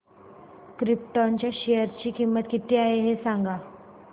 krypton च्या share ची किंमत किती आहे हे सांगा